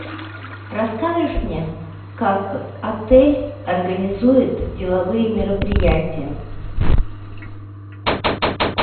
расскажешь мне как отель организует деловые мероприятия